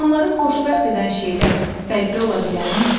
İnsanları xoşbəxt edən şeylər fərqli ola bilərmi?